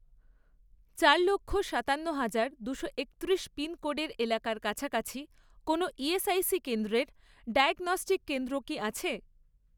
চার লক্ষ , সাতান্ন হাজার , দুশো একত্রিশ পিনকোডের এলাকার কাছাকাছি কোনও ইএসআইসি কেন্দ্রের ডায়াগনস্টিক কেন্দ্র কি আছে?